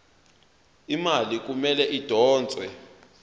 imali kumele idonswe